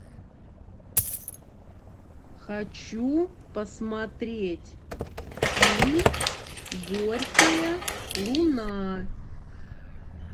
хочу посмотреть фильм горькая луна